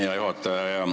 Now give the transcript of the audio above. Hea juhataja!